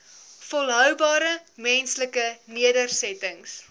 volhoubare menslike nedersettings